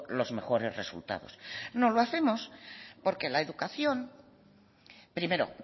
los mejores resultados no lo hacemos porque la educación primero